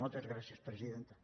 moltes gràcies presidenta